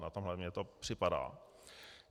Na tohle mně to připadá.